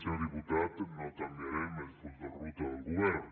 senyor diputat no canviarem el full de ruta del govern